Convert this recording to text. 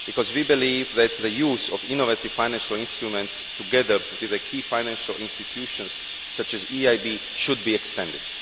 We believe that the use of innovative financial instruments, together with the key financial institutions such as the EIB, should be extended.